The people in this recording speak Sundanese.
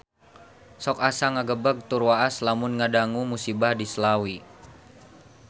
Sok asa ngagebeg tur waas lamun ngadangu musibah di Slawi